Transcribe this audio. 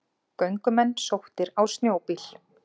Göngumenn sóttir á snjóbíl